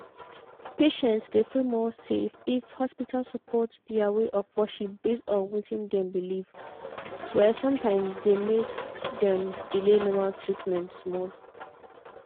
patients dey feel more safe if hospital support their way of worship based on wetin dem believe.were sometimes dey make dem delay normal treatment small.